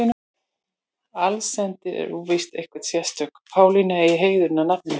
Allsendis er óvíst að einhver sérstök Pálína eigi heiðurinn að nafninu.